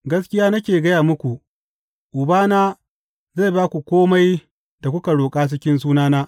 Gaskiya nake gaya muku, Ubana zai ba ku kome da kuka roƙa cikin sunana.